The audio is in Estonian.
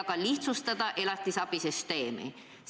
Ka tuleks elatisabisüsteemi lihtsustada.